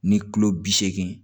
Ni kilo bi seegin